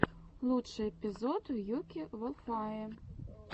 лучший эпизод юки волфае